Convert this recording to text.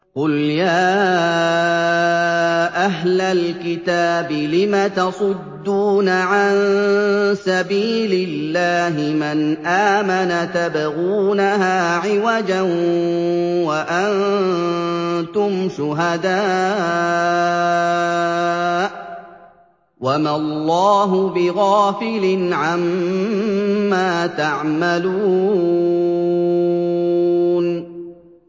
قُلْ يَا أَهْلَ الْكِتَابِ لِمَ تَصُدُّونَ عَن سَبِيلِ اللَّهِ مَنْ آمَنَ تَبْغُونَهَا عِوَجًا وَأَنتُمْ شُهَدَاءُ ۗ وَمَا اللَّهُ بِغَافِلٍ عَمَّا تَعْمَلُونَ